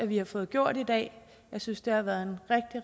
vi har fået gjort i dag jeg synes det har været en